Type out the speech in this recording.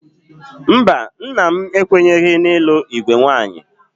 Mba, nna m ekwenyeghị n'ịlụ igwe nwaanyị?